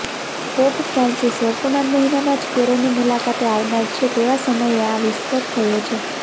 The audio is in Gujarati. પોપ ફ્રાન્સિસ વર્તમાન મહિનામાં જ કેરોની મુલાકાતે આવનાર છે તેવા સમયે આ વિસ્ફોટ થયો છે